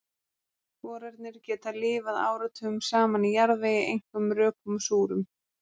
Sporarnir geta lifað áratugum saman í jarðvegi, einkum rökum og súrum.